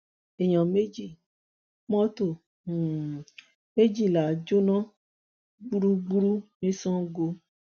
èèyàn méjì mọtò um méjìlá jóná gbúgbúrú ní sango